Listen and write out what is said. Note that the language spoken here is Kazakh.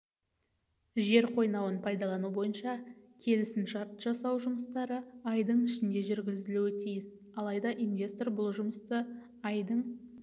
жер қойнауын пайдалану бойынша келісімшарт жасау жұмыстары айдың ішінде жүргізілуі тиіс алайда инвестор бұл жұмысты айдың